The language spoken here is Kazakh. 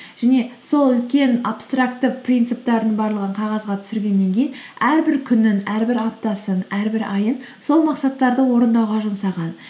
және сол үлкен абстрактты принцептерінің барлығын қағазға түсіргеннен кейін әрбір күнін әрбір аптасын әрбір айын сол мақсаттарды орындауға жұмсаған